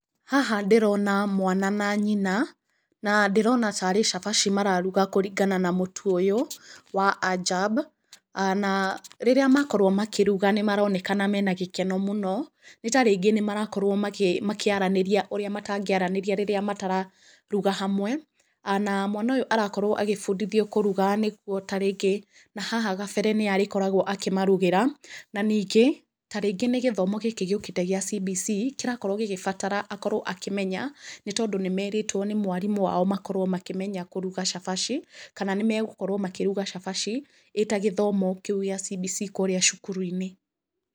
Haha ndĩrona mwana na nyina, na ndĩrona tarĩ cabaci mararuga kũringana na mũtu ũyũ, wa Ajab. Na rĩrĩa makorwo makĩruga nĩ marenakana mena gĩkeno mũno, nĩ tarĩngĩ nĩ marakorwo makĩaranĩria ũrĩa matangĩaranĩria rĩrĩa matararuga hamwe. Na mwana ũyũ arakorwo agĩbundithuo kũruga nĩguo tarĩngĩ na haha gabere nĩye arĩkoragwo akĩmarugĩra. Na ningĩ, tarĩngĩ nĩ gĩthomo gĩkĩ gĩũkĩte gĩa CBC, kĩrakorwo gĩkĩbatara akorwo akĩmenya, nĩ tondũ nĩ merĩtwo nĩ mwarimũ wao makorwo makĩmenya kũruga cabaci, kana nĩ megũkorwo makĩruga cabaci, ĩta gĩthomo kĩu gĩa CBC kũũrĩa cukuru-inĩ.